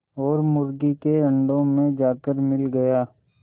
और मुर्गी के अंडों में जाकर मिल गया